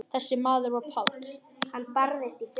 Þessi maður var Páll.